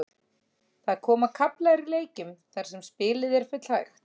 Það koma kaflar í leikjum þar sem spilið er full hægt.